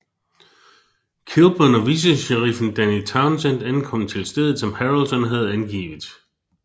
Kilburn og vicesheriffen Danny Towsend ankom til stedet som Harrelson havde angivet